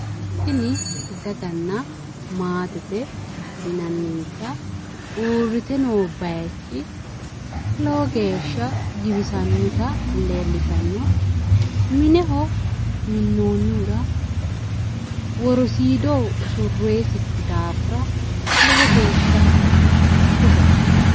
Tini daganna maatete yinannisa uurrite noo bayiichi lowo geeshsha giwisannota leellishanno mineho minnoonnohura worosiido usurroyiisikki daafira lowo geeshsha bushaho.